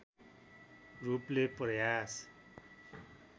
रूपले प्रयास